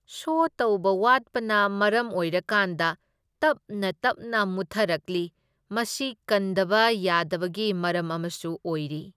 ꯁꯣ ꯇꯧꯕ ꯋꯥꯠꯄꯅ ꯃꯔꯝ ꯑꯣꯏꯔꯀꯥꯟꯗ ꯇꯞꯅ ꯇꯞꯅ ꯃꯨꯠꯊꯔꯛꯂꯤ, ꯃꯁꯤ ꯀꯟꯗꯕ ꯌꯥꯗꯕꯒꯤ ꯃꯔꯝ ꯑꯃꯁꯨ ꯑꯣꯏꯔꯤ꯫